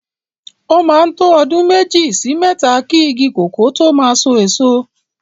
O máa ń tó ọdún méjì sí mẹ́ta ki igi kòkó tó máa so èso.